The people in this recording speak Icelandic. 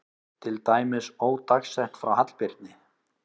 Til dæmis ódagsett frá Hallbirni